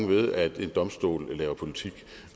ved at en domstol laver politik